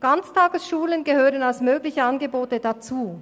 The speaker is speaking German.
Ganztagesschulen gehören als mögliche Angebote dazu.